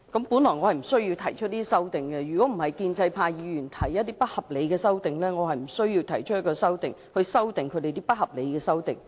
本來我無需提出這些修訂，如果不是建制派議員提出不合理的修訂，我是無須提出修訂議案，以修訂他們的不合理修訂。